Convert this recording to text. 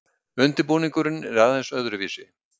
Undirbúningurinn er aðeins öðruvísi.